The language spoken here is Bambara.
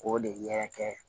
K'o de yɛrɛ kɛ